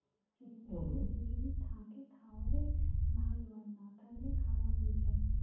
এমনিতে হলে যদি দুজনে থাকে তাহলে ভালো আর না হলে খারাপ হয় যায়